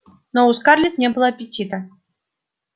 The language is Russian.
но у скарлетт не было аппетита